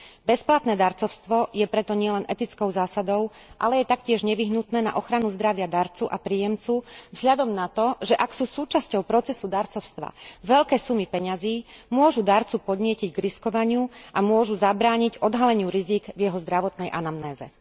Bezplatné darcovstvo je preto nielen etickou zásadou, ale je taktiež nevyhnutné na ochranu zdravia darcu a príjemcu vzhľadom na to, že ak sú súčasťou procesu darcovstva veľké sumy peňazí, môžu darcu podnietiť k riskovaniu a môžu zabrániť odhaleniu rizík v jeho zdravotnej anamnéze.